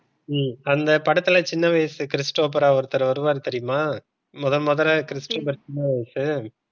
உம் அந்த படத்துல சின்ன வயசு கிறிஸ்டோப்பார ஒருத்தரு வருவாரு தெரியுமா? முதல் முதல் கிறிஸ்டோபர் சின்ன வயசு